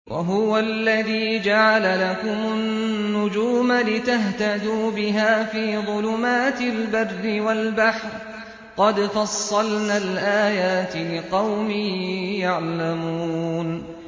وَهُوَ الَّذِي جَعَلَ لَكُمُ النُّجُومَ لِتَهْتَدُوا بِهَا فِي ظُلُمَاتِ الْبَرِّ وَالْبَحْرِ ۗ قَدْ فَصَّلْنَا الْآيَاتِ لِقَوْمٍ يَعْلَمُونَ